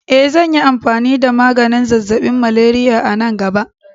Eh, zanyi amfani da maganin zazzaɓin malaria a nan gaba.